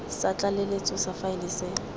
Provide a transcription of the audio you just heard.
sa tlaleletso sa faele se